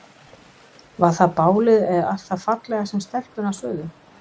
Var það bálið eða allt það fallega sem stelpurnar sögðu?